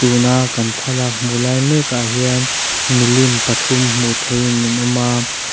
tuna kan thlalak hmu lai mek ah hian milin pathum hmu thei in an awm a.